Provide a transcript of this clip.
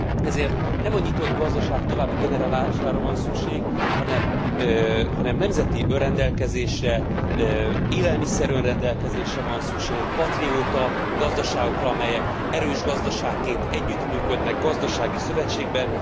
Ezért nem a nyitott gazdaság további generálására van szükség, hanem nemzeti önrendelkezésre, élelmiszer önrendelkezésre van szükség. Patrióta gazdaságokra, amelyek erős gazdaságként együttműködnek gazdasági szövetségben.